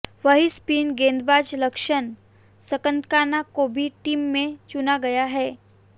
वहीं स्पिन गेंदबाज लक्षण संदकाना को भी टीम में चुना गया है